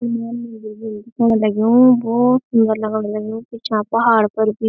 दिखेणा लग्युं भोत सुन्दर लगण लग्युं कु चों पहाड़ पर भी।